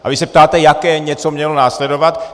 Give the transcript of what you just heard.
A vy se ptáte, jaké něco mělo následovat?